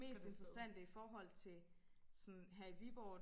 mest interessante i forhold til sådan her i Viborg